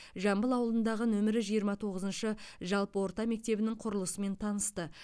жамбыл ауылындағы нөмірі жиырма тоғызыншы жалпы орта мектебінің құрылысымен танысты